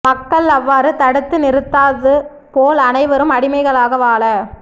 மக்கள் அவ்வாறு தடுத்து நிறுத்தாது போல் அனைவரும் அடிமைகளாக வாழ